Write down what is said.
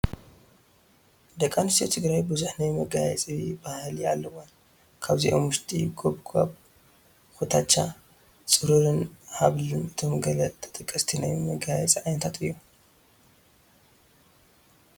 ደቂ ኣንስትዮ ትግራይ ብዙሕ ናይ መጋየፂ ባህሊ ኣለወን፡፡ ካብዚኦም ውሽጢ ጐባጉብ፣ ኩትቻ፣ ፅሩራን ሃብልን እቶም ገለ ተጠቀስቲ ናይ መጋየፂ ዓይነታት እዮም፡፡